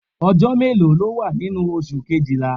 Ọjọ́ mélòó ló wà nínú oṣù Kejìlá?